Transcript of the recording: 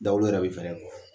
Da yɛrɛ bɛ fɛrɛ kɔ.